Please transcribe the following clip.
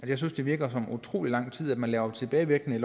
jeg synes det virker som utrolig lang tid man laver en tilbagevirkning i